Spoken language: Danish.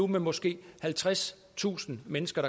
med måske halvtredstusind mennesker